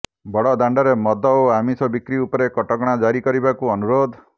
ବଡ଼ ଦାଣ୍ଡରେ ମଦ ଓ ଆମିଷ ବିକ୍ରି ଉପରେ କଟକଣା ଜାରି କରିବାକୁ ଅନୁରୋଧ